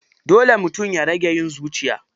Dole mutum ya rage yin zuciya.